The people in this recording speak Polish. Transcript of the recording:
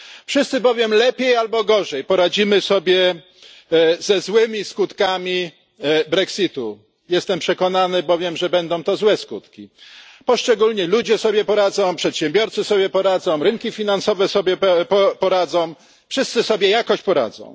Wszyscy bowiem lepiej albo gorzej poradzimy sobie ze złymi skutkami Brexitu jestem przekonany bowiem, że będą to złe skutki poszczególni ludzie sobie poradzą, przedsiębiorcy sobie poradzą, rynki finansowe sobieo poradzą, wszyscy sobie jakoś poradzą.